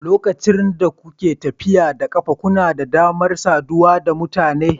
Lokacin da kuke tafiya da ƙafa, kuna da damar saduwa da mutane.